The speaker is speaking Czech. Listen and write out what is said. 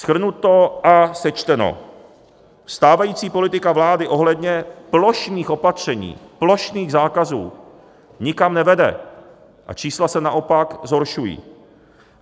Shrnuto a sečteno, stávající politika vlády ohledně plošných opatření, plošných zákazů nikam nevede a čísla se naopak zhoršují.